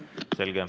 Selge.